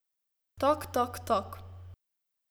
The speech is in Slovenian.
Tok tok tok.